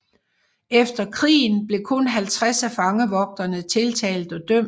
Efter krigen blev kun 50 af fangevogterne tiltalt og dømt